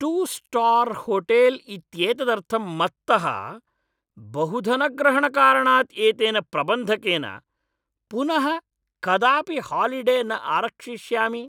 Two star hotel इत्येतदर्थं मत्तः बहुधनग्रहणकारणात् एतेन प्रबन्धकेन पुनः कदापि हालिडे न आरक्षिष्यामि।